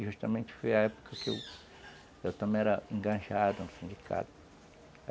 E justamente foi a época que eu também era engajado no sindicato.